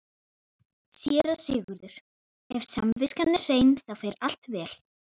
SÉRA SIGURÐUR: Ef samviskan er hrein, þá fer allt vel.